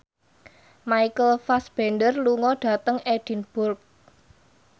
Michael Fassbender lunga dhateng Edinburgh